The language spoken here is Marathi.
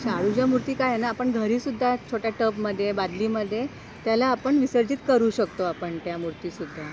शाडूच्या मूर्ती काय आहे ना आपण घरी सुद्धा छोट्या टब मध्ये बदली मध्ये त्याला आपण विसर्जित करू शकतो आपण त्या मूर्ती सुद्धा.